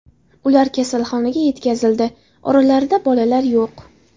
Ular kasalxonaga yetkazildi, oralarida bolalar yo‘q.